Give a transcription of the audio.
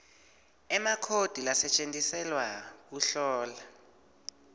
emakhodi lasetjentiselwa kuhlola